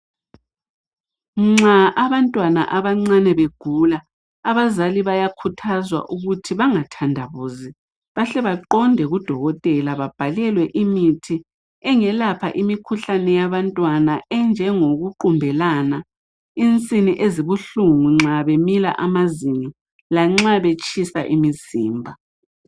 Nxa abantwana abancane begula abazali bayakhuthazwa ukuthi bangathandabuzi bahle baqonde kudokotela babhalelwe imithi engelapha imikhuhlane yabantwana enjengo kuqumbelana, insini esibuhlungu nxa bemila amazinyo lanxa betshisa imzimba.